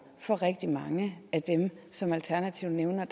for rigtig mange af dem som alternativet nævner